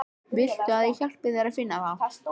Viltu að ég hjálpi þér að finna þá?